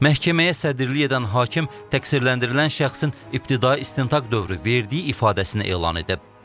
Məhkəməyə sədrilik edən hakim təqsirləndirilən şəxsin ibtidai istintaq dövrü verdiyi ifadəsini elan edib.